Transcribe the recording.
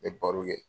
N bɛ baro kɛ